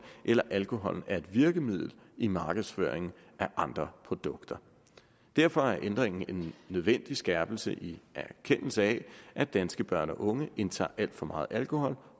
eller om alkohol er et virkemiddel i markedsføringen af andre produkter derfor er ændringen en nødvendig skærpelse i erkendelsen af at danske børn og unge indtager alt for meget alkohol